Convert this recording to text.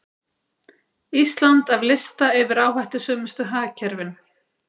Ísland af lista yfir áhættusömustu hagkerfin